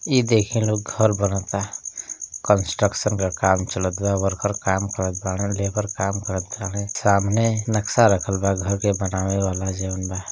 इ देखीं लोग घर बनता। कंस्ट्रक्शन क काम चलता। वर्कर काम करतबाने लेबर काम करताने सामने नक्शा रखल बा घर के बनावे वाला जवन बा |